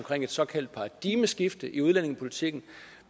et såkaldt paradigmeskifte i udlændingepolitikken